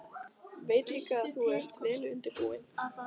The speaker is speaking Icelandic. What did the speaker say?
Veit líka að þú ert vel undirbúinn.